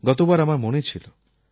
গতবার আমার মনে ছিল